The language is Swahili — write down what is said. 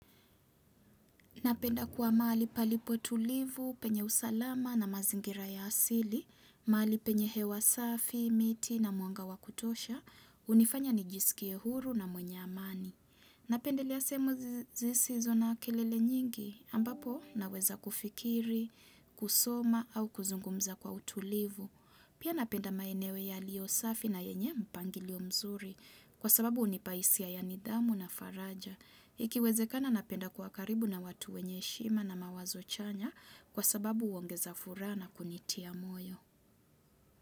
Napenda kuwa mali palipo tulivu, penye usalama na mazingira ya asili, mahali penye hewa safi, miti na mwanga wakutosha, hunifanya nijisikie huru na mwenye amani. Napendelea sehemu zisizona kelele nyingi, ambapo naweza kufikiri, kusoma au kuzungumza kwa utulivu. Pia napenda maeneo yaliyosafi na yenye mpangilio mzuri, kwa sababu hunipahisia ya nidhamu na faraja. Ikiwezekana napenda kuwa karibu na watu wenye heshima na mawazo chanya kwa sababu huongeza furaha na kunitia moyo.